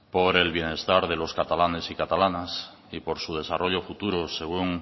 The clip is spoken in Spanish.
por el bienestar de los catalanes y catalanas y por su desarrollo futuro según